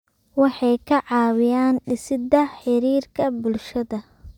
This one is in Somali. Waxay ka caawiyaan dhisidda xiriirka bulshada.